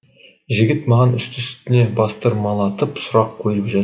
жігіт маған үсті үстіне бастырмалатып сұрақ қойып жатыр